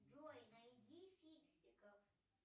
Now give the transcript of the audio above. джой найди фиксиков